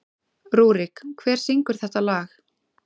Rúrik, hver syngur þetta lag?